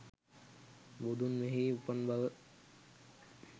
බුදුන් මෙහි උපන් බව